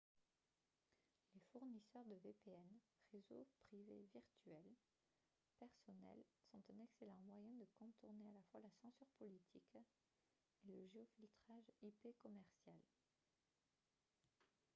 les fournisseurs de vpn réseau privé virtuel personnels sont un excellent moyen de contourner à la fois la censure politique et le géofiltrage ip commercial